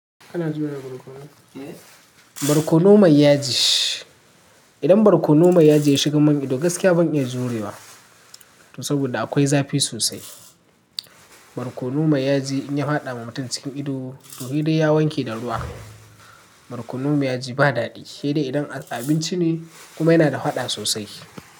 Kana jurewa barkono? Barkono mai yaji. Idan barkono mai yaji ya shigan man ido gaskiya ban iya jurewa to saboda akwai zafi sosai. Barkono mai yaji in ya faɗa wa mutum cikin ido to sai dai ya wanke da ruwa. Barkono mai yaji ba daɗi sai dai idan abinci ne kuma yana da faɗa sosai.